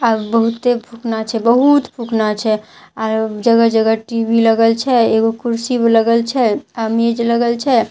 आब बहुते फुकना छे बहुत फुकना छे आ जगह जगह टी_वी लगल छै एगो कुर्सी भी लगल छै आ मेज लगल छै --